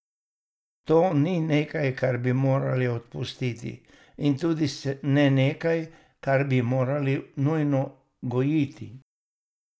To ni nekaj, kar bi morali opustiti, in tudi ne nekaj, kar bi morali nujno gojiti.